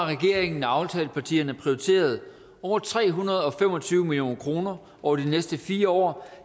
regeringen og aftalepartierne har prioriteret over tre hundrede og fem og tyve million kroner over de næste fire år